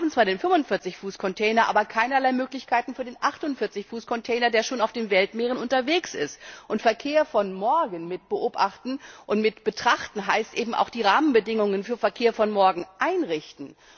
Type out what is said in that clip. Wir haben zwar den 45 Fuß Container, aber keinerlei Möglichkeiten für den 48 Fuß Container, der schon auf den Weltmeeren unterwegs ist. Verkehr von morgen mitbeobachten und mitbetrachten heißt eben auch, die Rahmenbedingungen für Verkehr von morgen einzurichten.